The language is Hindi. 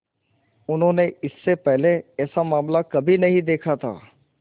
उन्होंने इससे पहले ऐसा मामला कभी नहीं देखा था